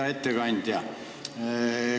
Hea ettekandja!